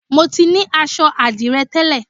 Mo ti ní aṣọ àdìrẹ tẹ́lẹ̀